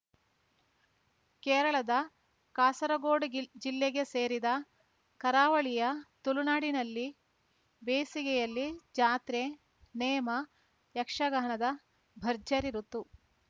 ಕೇರಳದ ಕಾಸರಗೋಡು ಗಿಲ್ ಜಿಲ್ಲೆ ಸೇರಿದ ಕರಾವಳಿಯ ತುಳು ನಾಡಿನಲ್ಲಿ ಬೇಸಿಗೆಯಲ್ಲಿ ಜಾತ್ರೆ ನೇಮ ಯಕ್ಷಗಾನದ ಭರ್ಜರಿ ಋುತು